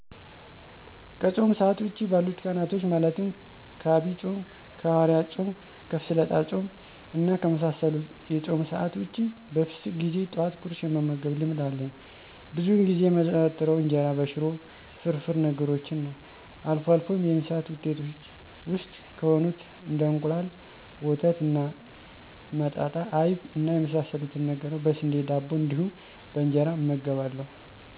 ከፆም ሰአት ውጪ ባሉት ቀናቶች ማለትም ከአብይ ፆም፣ ከሀዋርያት ፆም፣ ከፍስለታ ፆም እና ከመሳሰሉት የፆም ሰአት ውጭ በፍስክ ጊዜ ጠዋት ቁርስ የመመገብ ልምድ አለኝ። ብዙውን ጊዜ የማዘወትረው እንጀራ በሽሮ፣ ፍርፍር ነገሮችን ነዉ። አልፎ አልፎም የእንስሳት ውጤቶች ውስጥ ከሆኑት እንደ እንቁላል፣ ወተት እና መጣጣ አይብ እና የመሳሰሉትን ነገሮች በስንዴ ዳቦ እንዲሁም በእንጀራ እመገባለሁ።